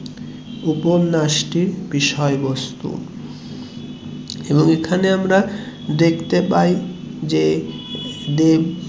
উপন্যাসটির বিষয়ে বস্তু এবং এখানে আমরা দেখতে পাই যে দেব